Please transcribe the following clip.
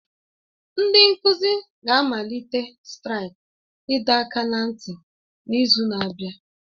Ndị nkuzi ga-amalite straiki ịdọ aka ná ntị n'izu na-abịa